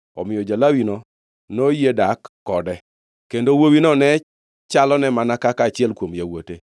Omiyo ja-Lawino noyie dak kode, kendo wuowino ne chalone mana kaka achiel kuom yawuote.